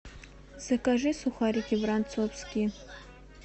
закажи сухарики воронцовские